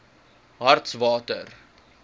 hartswater